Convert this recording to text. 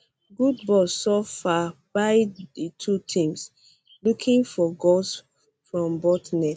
good ball so far buy di two teams looking for goals from both net